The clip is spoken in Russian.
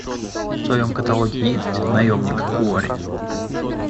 в твоем каталоге есть наемник куорри